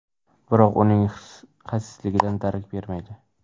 Biroq bu uning xasisligidan darak bermaydi.